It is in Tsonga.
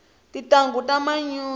tintangu ta manyunyu